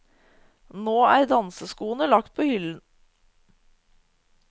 Nå er danseskoene lagt på hyllen.